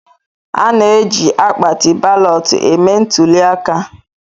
A na-eji akpatị balọtụ eme ntụlịaka